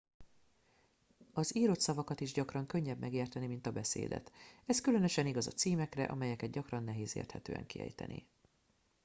az írott szavakat is gyakran könnyebb megérteni mint a beszédet ez különösen igaz a címekre amelyeket gyakran nehéz érthetően kiejteni